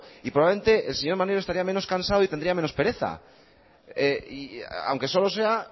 y probablemente el señor maneiro estaría menos cansado y tendría menos pereza aunque solo sea